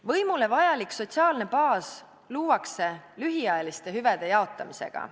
Võimule vajalik sotsiaalne baas luuakse lühiajaliste hüvede jaotamisega.